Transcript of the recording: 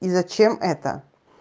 и зачем это